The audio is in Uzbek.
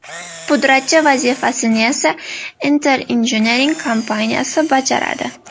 Pudratchi vazifasini esa Enter Engineering kompaniyasi bajaradi.